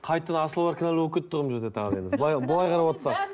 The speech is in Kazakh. қайтадан асабалар кінәлі болып кетті ғой мына жерде тағы да енді былай былай қарап отсақ